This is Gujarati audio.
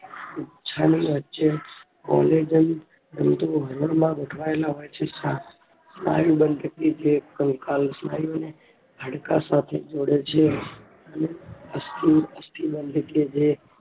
તંતુઓ માં ગોઠવાયેલા હોય છે સ્નાયુ બનતી જે કંકાલ સ્નાયુને હાડકા સાથે જોડે છે અને અસ્થિ બને છે